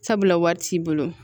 Sabula wari t'i bolo